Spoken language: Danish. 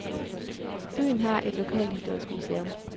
Byen har et lokalhistorisk museum.